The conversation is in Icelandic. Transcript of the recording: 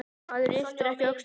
Maður ypptir ekki öxlum.